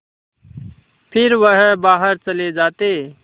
फिर वह बाहर चले जाते